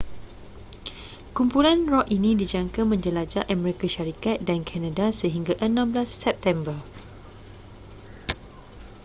kumpulan rock ini dijangka menjelajah amerika syarikat dan kanada sehingga 16 september